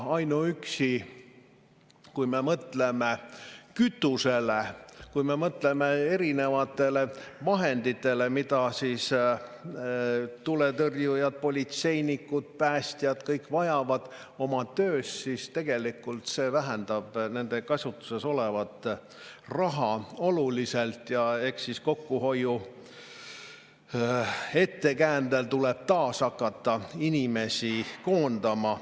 Kui me mõtleme ainuüksi kütusele, kui me mõtleme erinevatele vahenditele, mida tuletõrjujad, politseinikud, päästjad ja kõik vajavad oma töös, siis tegelikult see vähendab nende käsutuses olevat raha oluliselt ja eks siis tuleb kokkuhoiu ettekäändel hakata taas inimesi koondama.